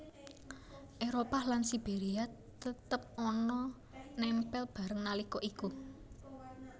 Éropah lan Siberia tetep ana nempel bareng nalika iku